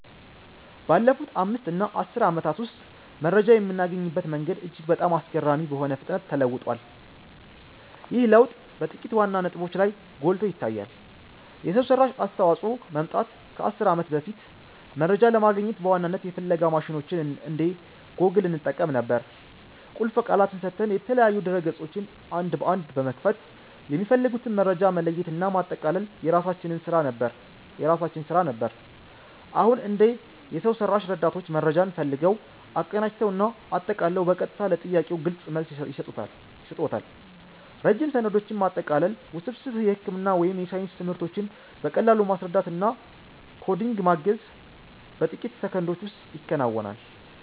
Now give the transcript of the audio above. ባለፉት 5 እና 10 ዓመታት ውስጥ መረጃ የምናገኝበት መንገድ እጅግ በጣም አስገራሚ በሆነ ፍጥነት ተለውጧል። ይህ ለውጥ በጥቂት ዋና ዋና ነጥቦች ላይ ጎልቶ ይታያል የሰው ሰራሽ አስተዋፅኦ መምጣት ከ 10 ዓመት በፊት፦ መረጃ ለማግኘት በዋናነት የፍለጋ ማሽኖችን እንደ ጎግል እንጠቀም ነበር። ቁልፍ ቃላትን ሰጥተን፣ የተለያዩ ድረ-ገጾችን አንድ በአንድ በመክፈት፣ የሚፈልጉትን መረጃ መለየትና ማጠቃለል የራሳችን ስራ ነበር። አሁን፦ እንደ የሰው ሰራሽ ረዳቶች መረጃን ፈልገው፣ አቀናጅተው እና አጠቃለው በቀጥታ ለጥያቄዎ ግልጽ መልስ ይሰጡዎታል። ረጅም ሰነዶችን ማጠቃለል፣ ውስብስብ የሕክምና ወይም የሳይንስ ትምህርቶችን በቀላሉ ማስረዳት እና ኮዲንግ ማገዝ በጥቂት ሰከንዶች ውስጥ ይከናወናል።